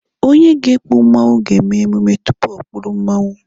Onye ga-ekpu mmanwụ ga-emume tupu o kpuru mmanwụ